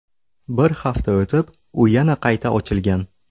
Bir hafta o‘tib, u yana qayta ochilgan.